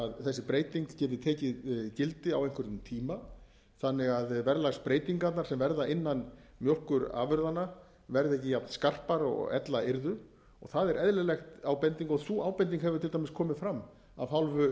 þessi breyting geti tekið gildi á einhverjum tíma þannig að verðlagsbreytingarnar sem verða innan mjólkurafurðanna verði ekki jafnskarpar og ella yrði og það er eðlileg ábending og sú ábending hefur til dæmis komið fram af hálfu